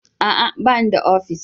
A'a! Ba ni da ofis.